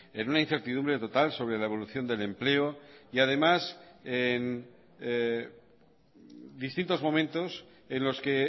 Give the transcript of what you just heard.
en una incertidumbre total sobre la evolución del empleo y además en distintos momentos en los que